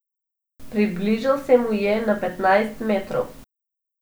Približal se mu je na petnajst metrov.